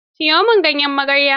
Siyo min ganyen magarya.